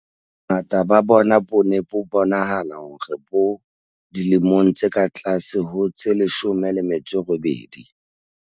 Bongata ba bona bo ne bo bonahala hore bo dilemong tse ka tlase ho tse 18.